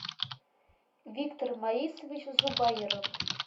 виктор маисович зубаиров